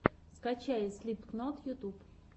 скачай слипкнот ютьюб